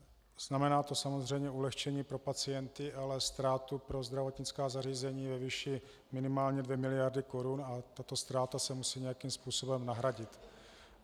Znamená to samozřejmě ulehčení pro pacienty, ale ztrátu pro zdravotnická zařízení ve výši minimálně 2 miliardy korun a tato ztráta se musí nějakým způsobem nahradit.